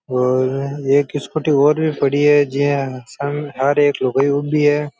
और एक स्कूटी और पड़ी है जिया सामने हर एक लुगाई ऊबी है।